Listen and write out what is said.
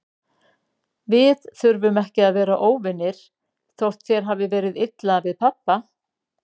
Við þurfum ekki að vera óvinir, þótt þér hafi verið illa við pabba.